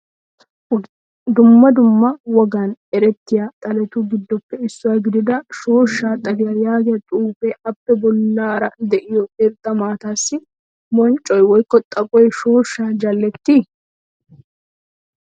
Dumma dumma wogaan erettiya xalettu giddoppe issuwa gidida shooshsha xaliyaa yaagiya xuufe appe bollara deiyo irxxa maataasi bonccoye woykko xaphphoy shooshsha jalleti?